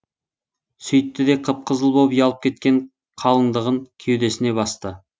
сөйтті де қып қызыл боп ұялып кеткен қалыңдығын кеудесіне басты